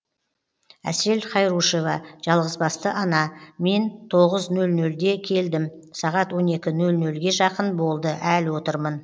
әсел хайрушева жалғызбасты ана мен тоғыз нөл нөлде келдім сағат он екі нөл нөлге жақын болды әлі отырмын